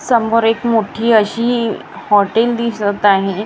समोर एक मोठी अशी हॉटेल दिसत आहे.